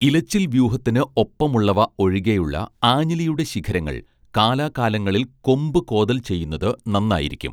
ഇലച്ചിൽ വ്യൂഹത്തിന് ഒപ്പമുള്ളവ ഒഴികെയുള്ള ആഞ്ഞിലിയുടെ ശിഖരങ്ങൾ കാലാ കാലങ്ങളിൽ കൊമ്പു കോതൽ ചെയ്യുന്നത് നന്നായിരിക്കും